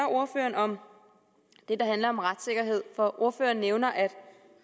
ordføreren om det der handler om retssikkerhed for ordføreren nævner at